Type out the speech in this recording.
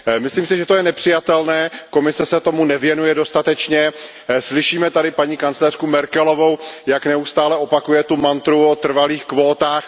Myslím si, že to je nepřijatelné, Komise se tomu nevěnuje dostatečně, slyšíme tady paní kancléřku Merkelovou, jak neustále opakuje mantru o trvalých kvótách.